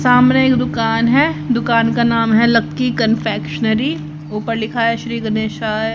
सामने एक दुकान है दुकान का नाम है लकी कन्फेक्शनरी ऊपर लिखा है श्री गणेशाय--